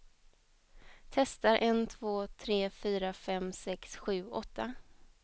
Testar en två tre fyra fem sex sju åtta.